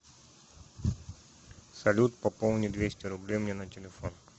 салют пополни двести рублей мне на телефон